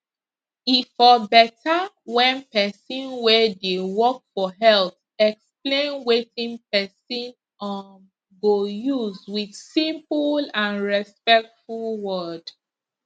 e for better when person way dey work for health explain wetin person um go use with simple and respectful word